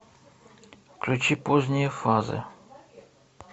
включи поздние фазы